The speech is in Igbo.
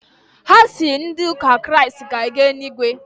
Ha sị na ndị ụka Kraịst ga-eje eluigwe.